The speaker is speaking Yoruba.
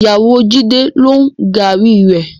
Ìyàwó Jídé ló ń gààrí rẹ.